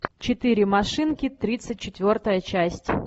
четыре машинки тридцать четвертая часть